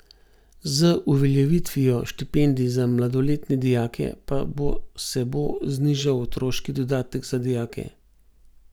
Z uveljavitvijo štipendij za mladoletne dijake pa bo se bo znižal otroški dodatek za dijake.